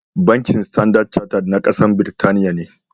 Bankin Standard Charted na kasa Birtaniya ne.